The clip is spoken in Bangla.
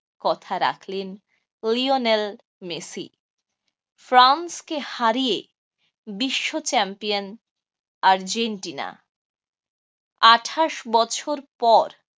কথা রাখলেন লিওনেল মেসি। ফ্রান্স কে হারিয়ে বিশ্ব champion আর্জেন্টিনা। আঠাশ বছর পর